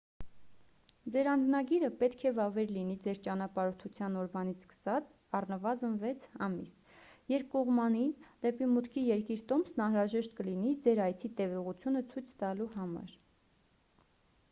ձեր անձնագիրը պետք է վավեր լինի ձեր ճանապարհորդության օրվանից սկսած առնվազն 6 ամիս: երկկողմանի/դեպի մուտքի երկիր տոմսն անհրաժեշտ կլինի ձեր այցի տևողությունը ցույց տալու համար: